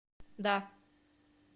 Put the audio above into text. да